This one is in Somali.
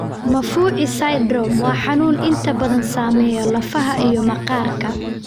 Maffucci syndrome waa xanuun inta badan saameeya lafaha iyo maqaarka.